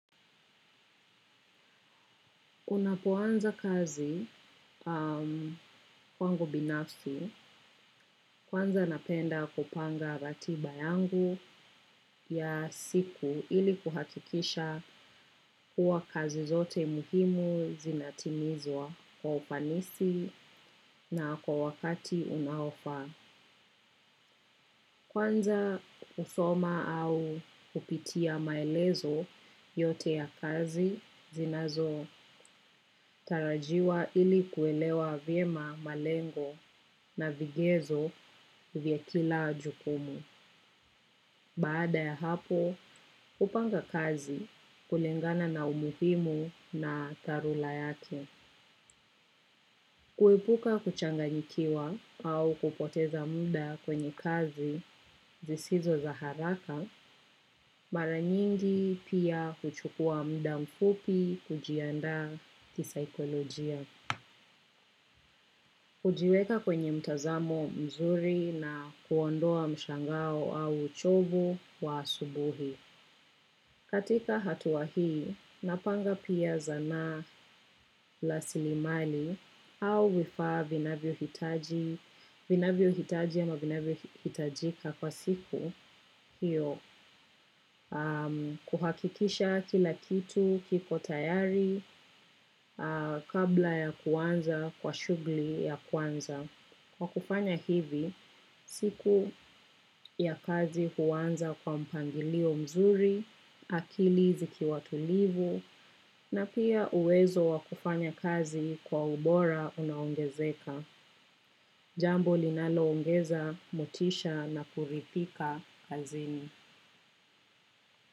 Unapoanza kazi kwangu binafsi kwanza napenda kupanga ratiba yangu ya siku ili kuhakikisha kuwa kazi zote muhimu zinatimizwa kwa ufanisi na kwa wakati unaofaa. Kwanza usoma au upitia maelezo yote ya kazi zinazo tarajiwa ili kuelewa vyema malengo na vigezo vya kila jukumu. Baada ya hapo, upanga kazi kulengana na umuhimu na tarula yake. Kuepuka kuchanganyikiwa au kupoteza muda kwenye kazi zisizo za haraka, mara nyingi pia kuchukua muda mfupi kujiandaa kisaikolojia. Kujiweka kwenye mtazamo mzuri na kuondoa mshangao au uchovu wa asubuhi. Katika hatua hii, napanga pia zana lasilimali au vifaa vinavyo hitaji ama vinavyo hitajika kwa siku kuhakikisha kila kitu kiko tayari kabla ya kuanza kwa shugli ya kwanza. Kwa kufanya hivi, siku ya kazi huanza kwa mpangilio mzuri, akili zikiwa tulivu, na pia uwezo wa kufanya kazi kwa ubora unaongezeka. Jambo linaloongeza motisha na kurithika kazini.